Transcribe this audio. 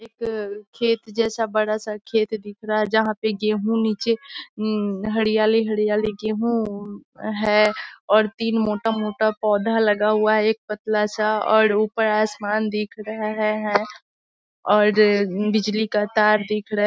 एक खेत जैसा बड़ा सा खेत दिख रहा है जहाँ पे गेहूं नीचे अम हरियाली-हरियाली गेहू है और तीन मोटा-मोटा पोधा लगा हुआ हैं एक पतला सा और ऊपर आसमान दिख रहा है और बिजली का तार दिख रहा --